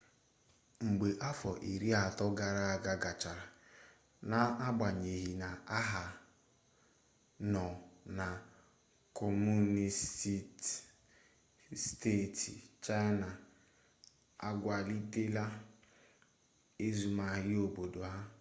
mgbe afọ iri atọ gara aga gachara n'agbanyeghị na ha nọ na kọmunisti steeti china akwalitela azụmaahia obodo ha